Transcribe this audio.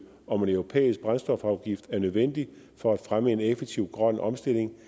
om en europæisk brændstofafgift er nødvendig for at fremme en effektiv grøn omstilling